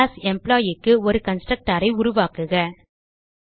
class Employeeக்கு ஒரு constructor ஐ உருவாக்குக